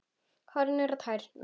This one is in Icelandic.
Horfði niður á tærnar.